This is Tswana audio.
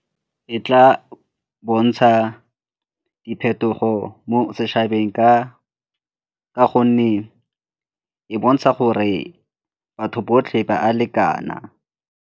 E tla bontsha diphetogo mo setšhabeng ka gonne e bontsha gore batho botlhe ba a lekana.